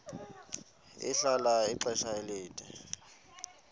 ahlala ixesha elide